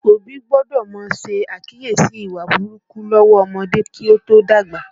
Òbí gbọ́dọ̀ má ṣe àkíyèsí ìwà burúkú lọ́wọ́ ọmọdé kí ó tó dàgbà